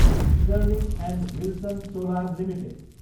sterling and Wilson Solar limited